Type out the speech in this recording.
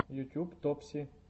ютуб топси